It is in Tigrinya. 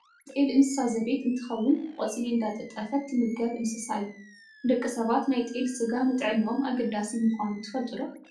ጤል እንስሳ ዘቤት እንትከውን ቆፅሊ እንዳጠጠፈት ትምገብ እንስሳ እያ። ንደቂ ሰባት ናይ ጤል ስጋ ንጥዕኖኦም ኣገዳሲ ምኳኑ ትፈልጡ ዶ ?